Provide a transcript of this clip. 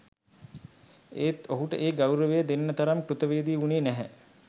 එත් ඔහුට ඒ ගෞරවය දෙන්න තරම් කෘතවේදී වුණේ නැහැ